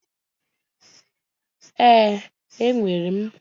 Ee, enwere m.